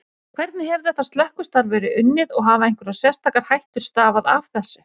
Hvernig hefur þetta slökkvistarf verið unnið og hafa einhverjar sérstakar hættur stafað af þessu?